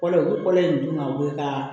Kɔlɔ bi kɔlɔ in dun ka wuli ka